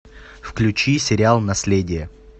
включи сериал наследие